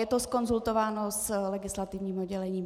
Je to zkonzultováno s legislativním oddělením.